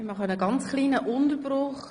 Ich mache einen ganz kleinen Unterbruch.